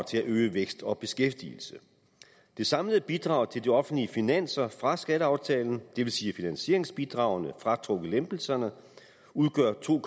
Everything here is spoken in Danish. til at øge vækst og beskæftigelse det samlede bidrag til de offentlige finanser fra skatteaftalen det vil sige finansieringsbidragene fratrukket lempelserne udgør to